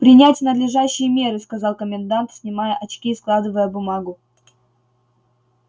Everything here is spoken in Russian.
принять надлежащие меры сказал комендант снимая очки и складывая бумагу